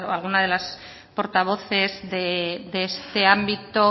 alguna de las portavoces de este ámbito